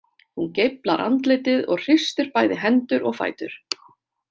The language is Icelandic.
Hún geiflar andlitið og hristir bæði hendur og fætur.